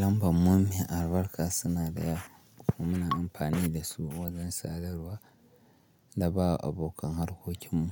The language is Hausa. Lambar mu mai albarka suna da yawa kuma muna amfani da su wajen sadarwa da ba wa abokan harkokinmu